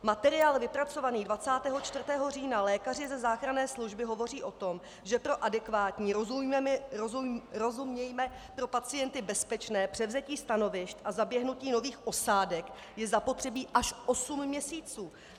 Materiál vypracovaný 24. října - lékaři ze záchranné služby hovoří o tom, že pro adekvátní, rozumějme pro pacienty bezpečné, převzetí stanovišť a zaběhnutí nových osádek je zapotřebí až osm měsíců.